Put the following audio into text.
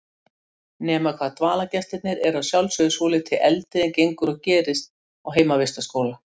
Nema hvað dvalargestirnir eru að sjálfsögðu svolítið eldri en gengur og gerist á heimavistarskóla.